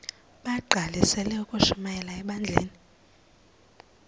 bagqalisele ukushumayela ebandleni